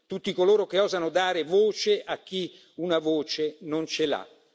tutti coloro che osano dare voce a chi una voce non ce l'ha.